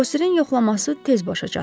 Bosirin yoxlaması tez başa çatdı.